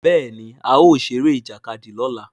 Béèni ao ṣe Eré Ìjàkadì lọla.